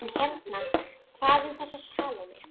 En hérna- hvað um þessa Salóme?